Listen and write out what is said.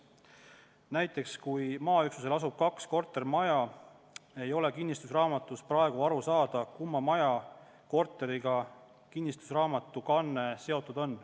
Näiteks kui maaüksusel asub kaks kortermaja, ei ole praegu kinnistusraamatu järgi aru saada, kumma maja korteriga kinnistusraamatu kanne on seotud.